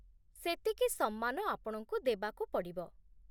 ସେତିକି ସମ୍ମାନ ଆପଣଙ୍କୁ ଦେବାକୁ ପଡ଼ିବ।